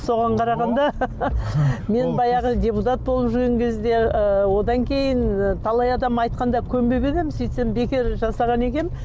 соған қарағанда мен баяғы депутат болып жүрген кезде ыыы одан кейін талай адам айтқанда көнбеген едім сөйтсем бекер жасаған екенмін